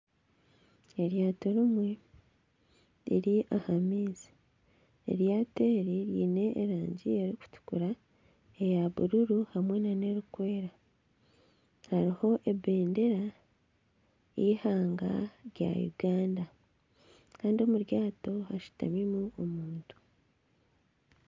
Eryaato rimwe riri aha maizi ,eryaato eri riine erangi erikutukura, eya bururu hamwe nana erikweera, hariho ebendera ,y'eihanga rya Uganda Kandi omu ryaato hashutamimu omuntu